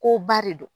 Ko ba de don